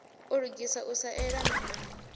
u lugisa u sa eḓana